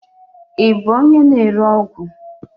Ị bụ onye na-ere ọgwụ?